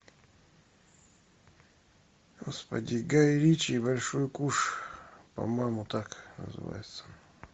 господи гай ричи большой куш по моему так называется